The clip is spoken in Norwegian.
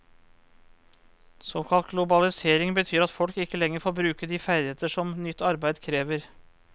Såkalt globalisering betyr at folk ikke lenger får bruke de ferdigheter som nytt arbeid krever.